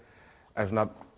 en